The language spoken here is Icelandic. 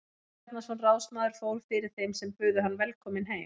Jón Bjarnason ráðsmaður fór fyrir þeim sem buðu hann velkominn heim.